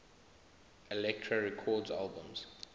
elektra records albums